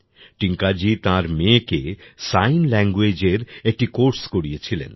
টিংকাজি তাঁর মেয়েকে সাইন ল্যাঙ্গুয়েজের একটি কোর্স করিয়েছিলেন